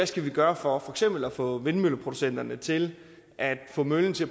skal gøre for at få vindmølleproducenterne til at få møllen til